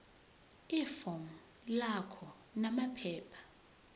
ifomu lakho namaphepha